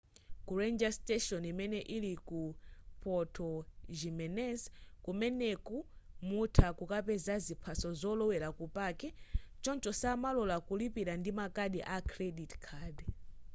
ku ranger station imene ili ku puerto jiménez kumeneku mutha kukapeza ziphaso zolowera ku paki choncho samalora kulipira ndi makadi a credit card